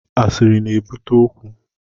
Asiri na-ebute okwu